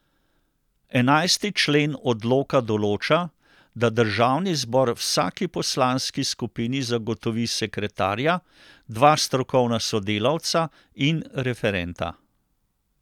Enajsti člen odloka določa, da državni zbor vsaki poslanski skupini zagotovi sekretarja, dva strokovna sodelavca in referenta.